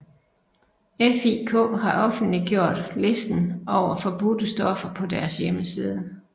FIK har offentliggjort listen over forbudte stoffer på deres hjemmeside